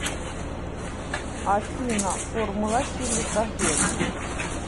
афина формула силикагель